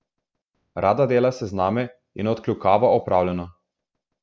Rada dela sezname in odkljukava opravljeno.